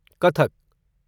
Kathak